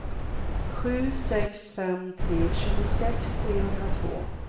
sju sex fem tre tjugosex trehundratvå